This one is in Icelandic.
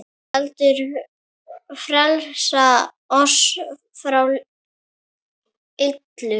heldur frelsa oss frá illu.